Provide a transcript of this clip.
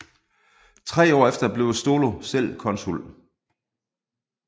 Tre år efter blev Stolo selv konsul